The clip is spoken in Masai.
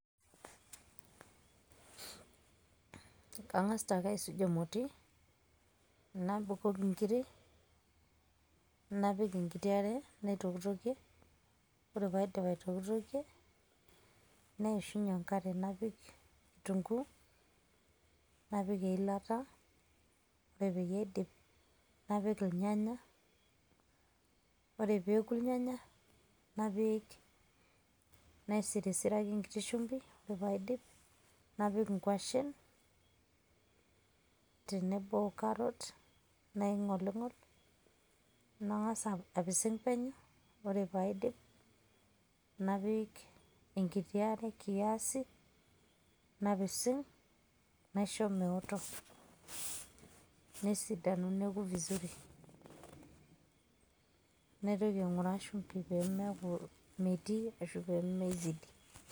kangas ake aisuj emoti, nabukoki nkiri, napik enkiti are, naitokitokie, ore pee aidip aitokitokie. neishunye enkare napik kitunkuu, napik eilata, ore peyie aidip napik irnyanya. napik nisirisiraki enkiti shumpi, napik inkwashen we nkiti carrot naingolingol, nangas apising' penyo. ore pee aidip napik enkiti are kiasi, napising naisho meoto. napising'vizuri